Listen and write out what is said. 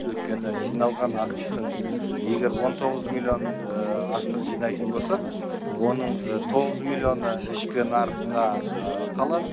өйткені жиналған астықтың егер он тоғыз миллион астық жинайтын болсақ оның тоғыз миллионы ішкі нарыққа қалады